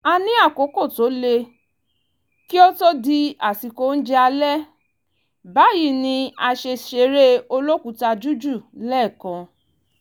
a ní àkókò tó lé kí ó to di àsìkò oúnjẹ alẹ́ báyìí ni a ṣe ṣeré olókùúta jújù lẹ́ẹ̀kan